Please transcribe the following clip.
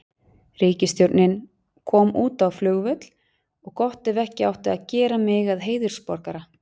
Ríkisstjórnin kom út á flugvöll og gott ef ekki átti að gera mig að heiðursborgara